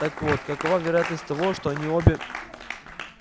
так вот какова вероятность того что они обе